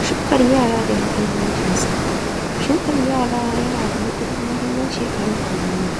Shukar yara da muhimmancinsa Shukar yara yana da matuƙar muhimmanci a harkar noma.